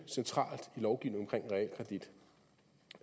centralt i lovgivningen omkring realkredit